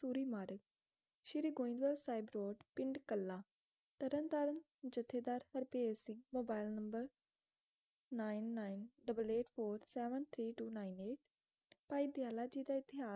ਸੂਰੀ Marg Sri Goindwal Sahib road ਪਿੰਡ ਕਲ੍ਹਾ ਤਰਨਤਾਰਨ ਜਥੇਦਾਰ Harbher Singh mobile number nine nine double eight four seven three two nine eight Bhai Dayala ji ਦਾ ਇਤਿਹਾਸ